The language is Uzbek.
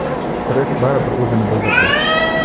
Stress baribir o‘zini bildirdi.